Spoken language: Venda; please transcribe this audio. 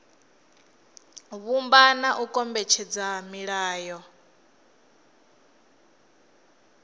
vhumba na u kombetshedza milayo